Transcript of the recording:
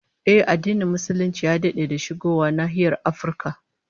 Ehh, addinin Musulunci ya dade da shigowa nahiyar Afirka